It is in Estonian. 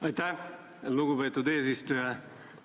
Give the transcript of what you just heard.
Aitäh, lugupeetud eesistuja!